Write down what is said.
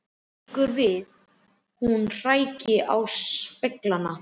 Liggur við hún hræki á speglana.